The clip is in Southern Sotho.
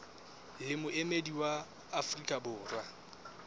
le moemedi wa afrika borwa